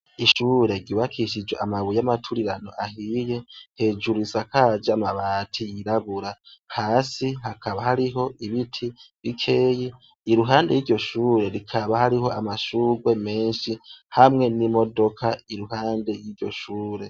Ishure ryubakishijwe amabuye yamaturirano ahiye, hejuru risakaje amabati yirabura, hasi hakaba hariho ibiti bikeyi, iruhande yiryo shure rikaba harimwo amashurwe menshi hamwe n'imodoka impande yiryo shure.